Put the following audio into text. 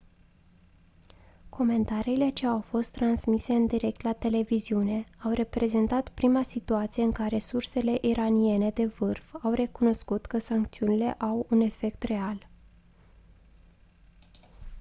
comentariile ce au fost transmise în direct la televiziune au reprezentat prima situație în care sursele iraniene de vârf au recunoscut că sancțiunile au un efect real